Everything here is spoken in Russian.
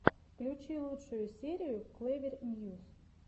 включи лучшую серию клэвер ньюс